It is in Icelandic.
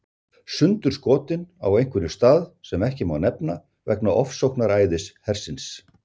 Sundurskotinn á einhverjum stað sem ekki má nefna vegna ofsóknaræðis hersins.